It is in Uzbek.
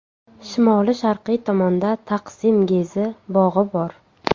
Shimoli-sharqiy tomonda Taqsim-Gezi bog‘i bor.